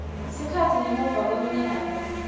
sikhatsi ngemuva kweminyaka